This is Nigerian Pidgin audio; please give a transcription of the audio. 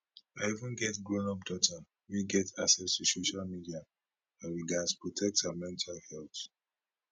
i even get grownup daughter wey get access to social media and we gatz protect her mental health